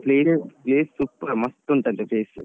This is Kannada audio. Place super ಮಸ್ತ್ ಉಂಟಂತೆ place .